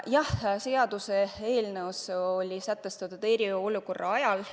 Jah, seaduseelnõus oli kirjas, et eriolukorra ajal.